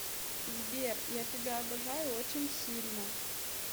сбер я тебя обожаю очень сильно